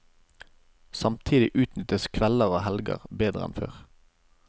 Samtidig utnyttes kvelder og helger bedre enn før.